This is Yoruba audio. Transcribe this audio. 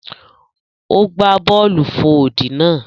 O gba bọọlu fò odi náà.